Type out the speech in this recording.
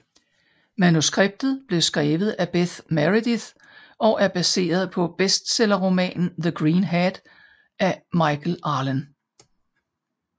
Manuskriptet blev skrevet af Bess Meredyth og er baseret på bestsellerromanen The Green Hat af Michael Arlen